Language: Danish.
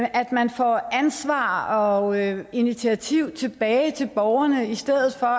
at man får ansvar og initiativ tilbage til borgerne i stedet for